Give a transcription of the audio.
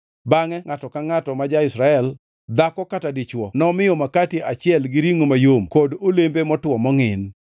Bangʼe ngʼato ka ngʼato ma ja-Israel, dhako kata dichwo nomiyo makati achiel, gi ringʼo mayom kod olembe motwo mongʼin.